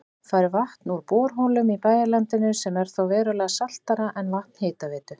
Fær vatn úr borholum í bæjarlandinu sem er þó verulega saltara en vatn Hitaveitu